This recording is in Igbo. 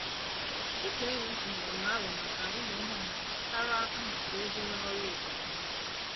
Otu enyi m tụnyere m aro maka imụ ihe ọmụmụ gbasara mmụta ego na ọrụ obodo.